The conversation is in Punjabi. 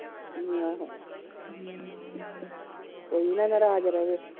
ਅਮ ਆਹੋ ਕੋਈ ਨਾ ਨਰਾਜ਼ ਰਵੇ।